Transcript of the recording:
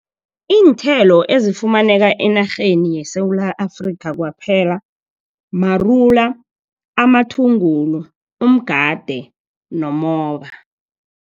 Iinthelo ezifumaneka enarheni yeSewula Afrikha kwaphela marula, amathungulu, umgade, nomoba.